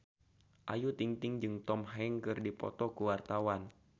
Ayu Ting-ting jeung Tom Hanks keur dipoto ku wartawan